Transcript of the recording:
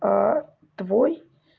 а твой